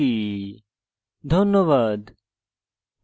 ধন্যবাদ